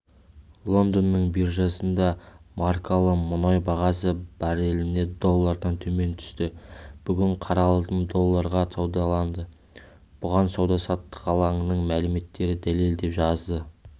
лондонның биржасында маркалы мұнай бағасы барреліне доллардан төмен түсті бүгін қара алтын долларға саудаланды бұған сауда-саттық алаңының мәліметтері дәлел деп жазады